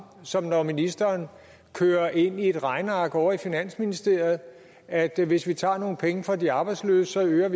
som når ministeren kører ind i et regneark ovre i finansministeriet at vi hvis vi tager nogle penge fra de arbejdsløse øger